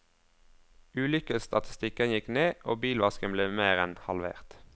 Ulykkesstatistikken gikk ned, og bilvasken ble mer enn halvert.